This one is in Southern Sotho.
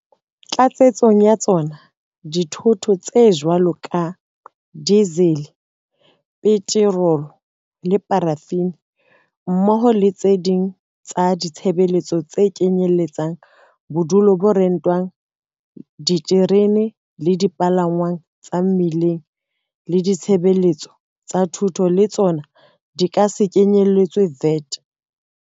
Tlatsetsong ya tsona, dithoto tse jwalo ka dizele, petorolo le parafini, mmoho le tse ding tsa ditshebeletso tse kenyelletsang bodulo bo rentwang, diterene le dipalangwang tsa mmileng le ditshebeletso tsa thuto le tsona di ka se kenyeletswe VAT.